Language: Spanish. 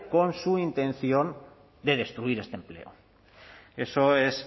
con su intención de destruir este empleo eso es